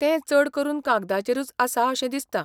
तें चडकरून कागदाचेरूच आसा अशें दिसता.